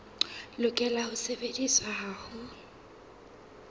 lokela ho sebediswa ha ho